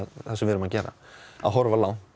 sem við erum að gera að horfa langt